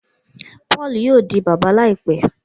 Paulú yóò di bàbá láìpé